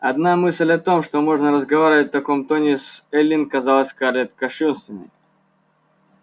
одна мысль о том что можно разговаривать в таком тоне с эллин казалась скарлетт кощунственной